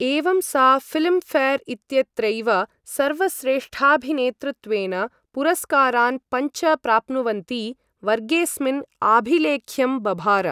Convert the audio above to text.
एवं सा Filmfare इत्यत्रैव सर्वश्रेष्ठाभिनेतृत्वेन पुरस्कारान् पञ्च प्राप्नुवन्ती, वर्गेस्मिन् आभिलेख्यं बभार।